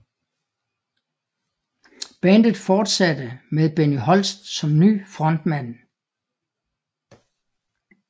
Bandet forsatte med Benny Holst som ny frontmand